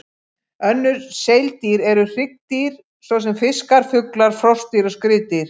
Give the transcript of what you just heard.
Önnur seildýr eru hryggdýr, svo sem fiskar, fuglar, froskdýr og skriðdýr.